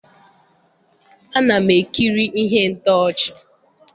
Ana m ekiri ihe ntọchi.